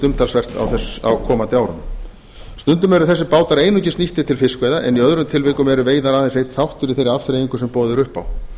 umtalsvert á komandi árum stundum eru þessir bátar einungis nýttir til fiskveiða en í öðrum tilvikum eru veiðar aðeins einn þáttur í þeirri afþreyingu sem boðið er upp á